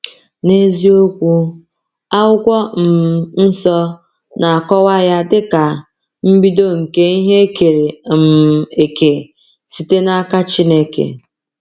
N’eziokwu, Akwụkwọ um Nsọ na-akọwa ya dịka “mbido nke ihe e kere um eke site n’aka Chineke.”